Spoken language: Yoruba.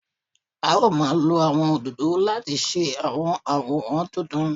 A ó máa lo àwọn òdòdó láti ṣe àwọn àwòrán tuntun